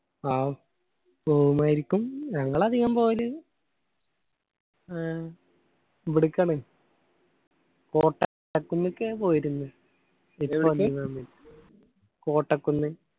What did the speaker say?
ആ പോവുമായിരിക്കും. ഞങ്ങൾ അധികം പോകല് ഏർ ഇബിടിക്കാണ് കോട്ട കുന്നിക്ക് ഞാൻ പോയിരുന്നു കോട്ടക്കുന്ന്